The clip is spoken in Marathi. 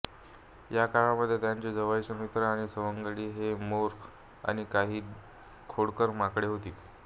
या काळामध्ये त्यांचे जवळचे मित्र आणि सवंगडी हे मोर आणि काही खोडकर माकडे होती